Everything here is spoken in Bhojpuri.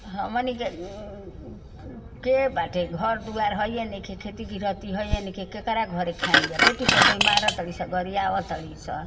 हमनी के के बाटे? घर दुआर हइये नईखे। खेती गृहथी हइये नईखे। केकरा घरे खाई जा? बेटी पतोहि मार तड़ी स गरियाव तड़ी स।